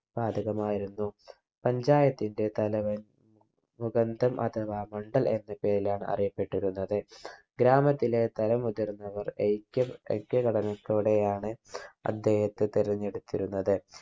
ബാധകമായിരുന്നു panchayat ന്റെ തലവൻ മുകന്ദൻ അഥവാ മണ്ഡൽ എന്ന പേരിലാണ് അറിയപ്പെട്ടിരുന്നത് ഗ്രാമത്തിലെ തല മുതിർന്നവർ ഐക്യൻ ഐക്യഘടനത്തോടെയാണ് അദ്ദേഹത്തെ തിരെഞ്ഞെടുത്തിരുന്നത്